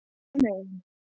HÚN EIN